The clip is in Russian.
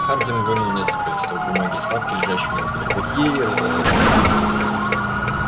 хардин вынул несколько листков бумаги из папки лежащей у него под рукой и разложил их